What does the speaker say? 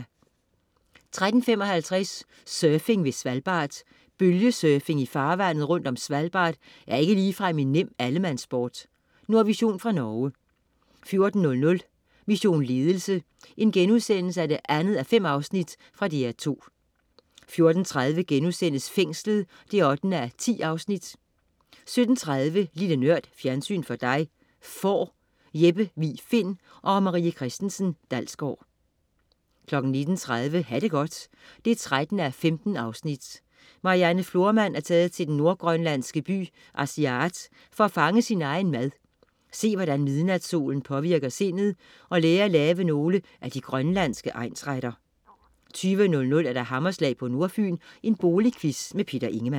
13.55 Surfing ved Svalbard. Bølgesurfing i farvandet rundt om Svalbard er ikke ligefrem en nem allemandssport. Nordvision fra Norge 14.00 Mission Ledelse 2:5.* Fra DR2 14.30 Fængslet 8:10* 17.30 Lille Nørd. Fjernsyn for dig. Får. Jeppe Vig Find & Marie Christensen Dalsgaard 19.30 Ha' det godt 13:15. Marianne Florman er taget til den nordgrønlandske by Asiaat for at fange sin egen mad, se, hvordan midnatssolen påvirker sindet, og lære at lave nogle af de grønlandske egnsretter 20.00 Hammerslag på Nordfyn. Boligquiz. Peter Ingemann